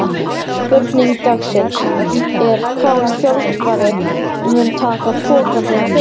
Spurning dagsins er: Hvaða þjálfari mun taka pokann sinn fyrstur?